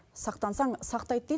сақтансаң сақтайды дейді